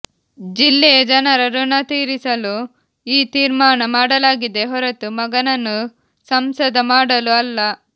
ಜಿಲ್ಲೆಯ ಜನರ ಋಣ ತೀರಿಸಲು ಈ ತೀರ್ಮಾನ ಮಾಡಲಾಗಿದೆ ಹೊರತು ಮಗನನ್ನು ಸಂಸದ ಮಾಡಲು ಅಲ್ಲ